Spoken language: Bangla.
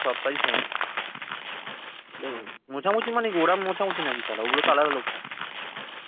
সবটাই সমান ঠিক আছে মোছামুছি মানে কি ওরম মোছামুছি নাকি শালা ওগুলো তো আলাদা লোক থাকে